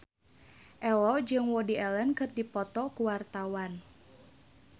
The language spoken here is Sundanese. Ello jeung Woody Allen keur dipoto ku wartawan